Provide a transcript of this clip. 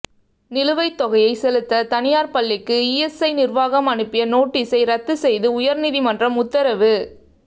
நிலுவைத் தொகையை செலுத்த தனியாா் பள்ளிக்கு இஎஸ்ஐ நிா்வாகம் அனுப்பிய நோட்டீஸை ரத்து செய்து உயா்நீதிமன்றம் உத்தரவு